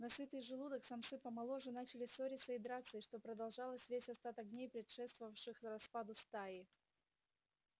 на сытый желудок самцы помоложе начали ссориться и драться и что продолжалось весь остаток дней предшествовавших распаду стаи